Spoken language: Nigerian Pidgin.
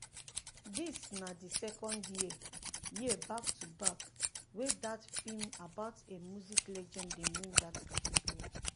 dis na di second year year back to back wey dat film um about a music legend dey win dat category.